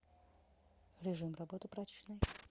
режим работы прачечной